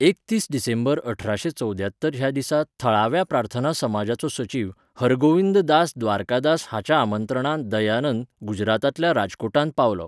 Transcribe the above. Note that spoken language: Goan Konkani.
एकतीस डिसेंबर अठराशे चौद्यात्तर ह्या दिसा थळाव्या प्रार्थना समाजाचो सचीव हरगोविंद दास द्वारकादास हाच्या आमंत्रणान दयानंद, गुजरातांतल्या राजकोटांत पावलो.